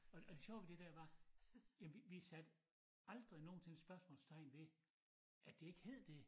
Og og det sjove ved det dér var ja vi vi satte aldrig nogensinde spørgsmålstegn ved at det ikke hed det